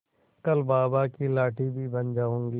कल बाबा की लाठी भी बन जाऊंगी